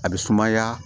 A bɛ sumaya